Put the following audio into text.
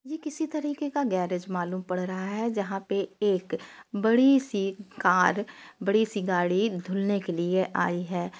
ये किसी तरीके का गेरेज मालूम पड़ रहा है जहाँ पे एक बड़ी सी कार बड़ी सी गाड़ी धुलने के लिए आई है।